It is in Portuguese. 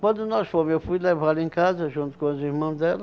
Quando nós fomos, eu fui levá-la em casa junto com os irmão dela.